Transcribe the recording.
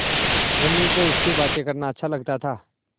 धनी को उससे बातें करना अच्छा लगता था